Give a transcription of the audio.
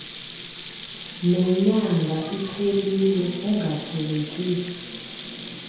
nenyanga iphelile ungathelekisa